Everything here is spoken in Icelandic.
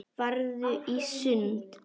Farðu í sund.